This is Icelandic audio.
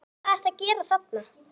En hvað ertu að gera þarna?